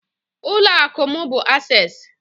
Ụlọ akụ mu bu Access